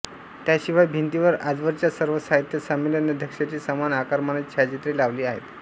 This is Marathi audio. त्याशिवाय भिंतींवर आजवरच्या सर्व साहित्य संमेलनाध्यक्षांची समान आकारमानाची छायाचित्रे लावली आहेत